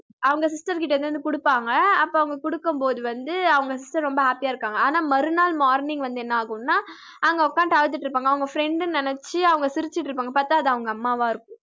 அவங்க sister கிட்ட எடுத்துட்டு வந்து குடுப்பாங்க அப்ப அவங்க குடுக்கும்போது வந்து அவங்க sister ரொம்ப happy ஆ இருக்காங்க ஆனா மறுநாள் morning வந்து என்ன ஆகும்னா அங்க உட்கார்ந்திட்டு அழுதுட்டு இருப்பாங்க அவங்க friend னு நினைச்சு அவங்க சிரிச்சிட்டு இருப்பாங்க பார்த்தா அது அவங்க அம்மாவா இருக்கும்